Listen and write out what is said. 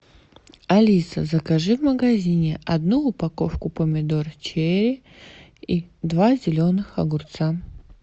алиса закажи в магазине одну упаковку помидор черри и два зеленых огурца